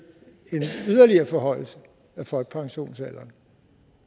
en yderligere forhøjelse af folkepensionsalderen